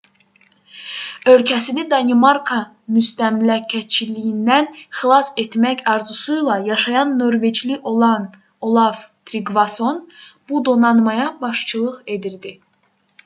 ölkəsini danimarka müstəmləkəçiliyindən xilas etmək arzusuyla yaşayan norveçli olav triqvason bu donanmaya başçılıq edirdi